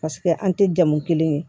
Paseke an tɛ jamu kelen ye